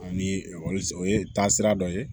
Ani o ye taasira dɔ ye